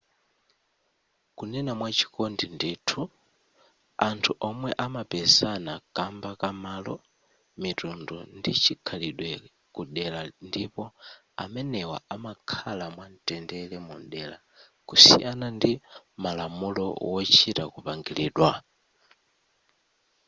kunena mwachikondi ndithu anthu omwe amapezana kamba ka malo mitundu ndi chikhalidwe ku dera ndipo amenewa amakhala mwa mtendere mu dera kusiyana ndi malamulo wochita kupangilidwa